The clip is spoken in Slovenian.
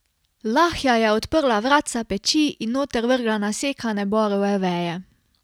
Lahja je odprla vratca peči in noter vrgla nasekane borove veje.